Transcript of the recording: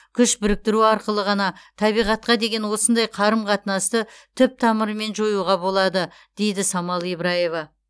күш біріктіру арқылы ғана табиғатқа деген осындай қарым қатынасты түп тамырымен жоюға болады дейді самал ибраева